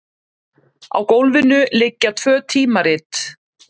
Á gólfinu liggja tvö tímarit.